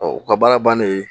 u ka baara bannen